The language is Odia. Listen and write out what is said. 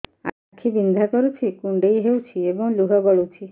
ଆଖି ବିନ୍ଧା କରୁଛି କୁଣ୍ଡେଇ ହେଉଛି ଏବଂ ଲୁହ ଗଳୁଛି